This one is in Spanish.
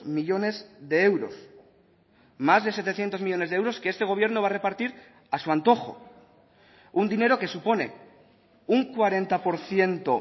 millónes de euros más de setecientos millónes de euros que este gobierno va a repartir a su antojo un dinero que supone un cuarenta por ciento